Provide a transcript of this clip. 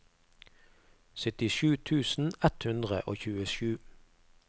syttisju tusen ett hundre og tjuesju